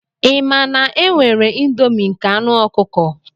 Ị ma na e nwere indomie nke anu ọkụkọ?